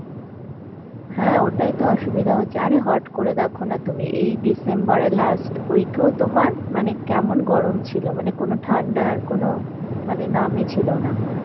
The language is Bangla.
হ্যাঁ ওটাই তো অসুবিধা হচ্ছে, আরে হট করে দেখনা তুমি এই December এর last week এও তোমার মানে কেমন গরম ছিল মানে কোন ঠান্ডার কোন মানে নামই ছিল না.